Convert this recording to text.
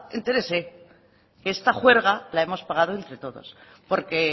oiga entérese que esta juerga la hemos pagado entre todos porque